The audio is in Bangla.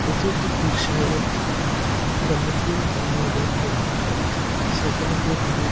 এটি একটি পীর সাহেবের বাড়ি যা মুসলিম ধর্ম অবলম্বন মানুষেরা সেখানে গিয়ে তাদের--